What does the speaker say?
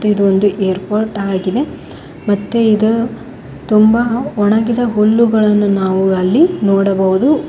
ಇದೊಂದು ಏರ್ಪೋರ್ಟ್ ಆಗಿದೆ ಮತ್ತೆ ಇದ ತುಂಬ ವಣಗಿದ ಹುಲ್ಲುಗಳನ್ನು ನಾವು ಅಲ್ಲಿ ನೋಡಬಹುದು.